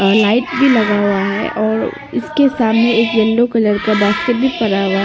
और लाइट भी लगा हुआ है और इसके सामने एक येलो कलर का बास्केट भी पड़ा हुआ है।